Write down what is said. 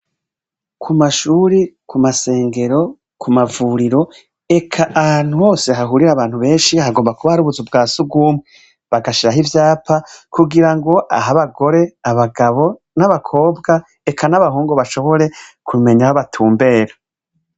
Ku mashure, ku masengero, ku mavuriro, eka ahantu hose hahurira abantu benshi, hagomba kuba ari ubuzu bwa sugumwe. Bagashiraho ivyapa kugira ngo aho abagore, abagabo, n'abakobwa, eka n'abahungu bashobore kumenya aho batumbera.